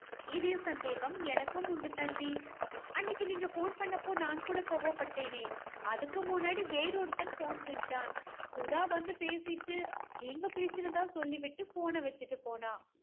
இதே சந்தேகம் எனக்கும் உண்டு தம்பி. அன்னைக்கு நீங்க phone பண்ணப்போ நான் கூட கோபப்பட்டேனே. அதுக்கு முன்னாடி வேறொருத்தன் phone செஞ்சான். சுதா வந்து பேசிட்டு நீங்க பேசுறதா சொல்லிவிட்டு phone னை வைச்சுட்டு போனா